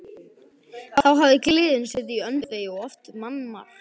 Þá hafði gleðin setið í öndvegi og oft mannmargt.